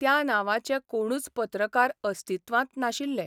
त्या नावांचें कोणूच पत्रकार अस्तित्वांत नाशिल्ले.